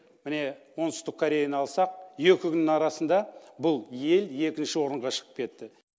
міне оңтүстік кореяны алсақ екі күннің арасында бұл ел екінші орынға шығып кетті